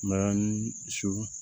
Mayani su